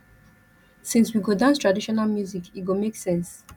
since we go dance traditional music e go make sense